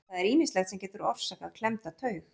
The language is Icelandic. Það er ýmislegt sem getur orsakað klemmda taug.